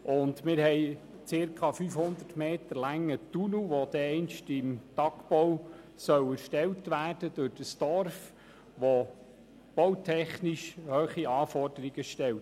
Zudem gibt es einen circa 500 Meter langen Tunnel durch das Dorf, der im Tagbau erstellt werden soll und bautechnisch hohe Anforderungen stellt.